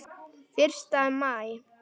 Fyrsta maí.